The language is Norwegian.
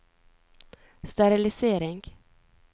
sterilisering